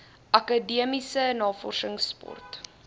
akademiese navorsings sport